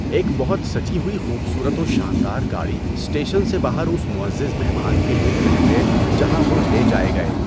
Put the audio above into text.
ایک بہت سجی ہوئی خوبصورت و شاندار گاڑی اسٹیشن سے باہر اس معزز مہمان کے لیے کھڑی ہے جہاں وہ لے جائے گئے۔